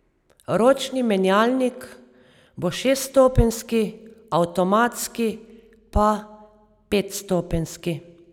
Ročni menjalnik bo šeststopenjski, avtomatski pa petstopenjski.